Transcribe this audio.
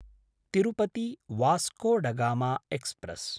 Tirupati Vasco da Gama express